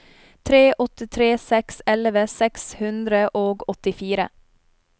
tre åtte tre seks elleve seks hundre og åttifire